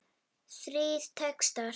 Þrír textar í